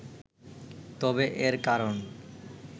তবে এর কারণ